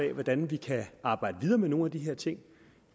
af hvordan vi kan arbejde videre med nogle af de her ting